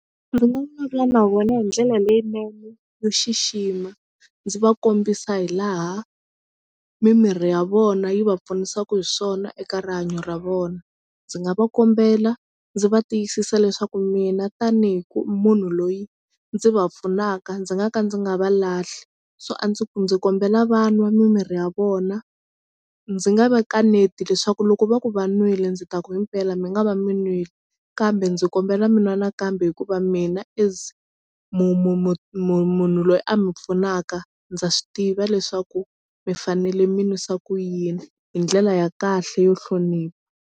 Ndzi nga vulavula na vona hi ndlela leyinene yo xixima ndzi va kombisa hi laha mimirhi ya vona yi va pfunisaka hi swona eka rihanyo ra vona. Ndzi nga va kombela ndzi va tiyisisa leswaku mina tanihi ku munhu loyi ndzi va pfunaka ndzi nga ka ndzi nga va lahli so a ndzi ku ndzi kombela va nwa mimirhi ya vona ndzi nga va kaneti leswaku loko va ku va nwile ndzi ta ku himpela mi nga va mi nwile kambe ndzi kombela mina nakambe hikuva mina as mu mu mu mu munhu loyi a mi pfunaka ndza swi tiva leswaku mi fanele mi nwisa ku yini hi ndlela ya kahle yo hlonipha.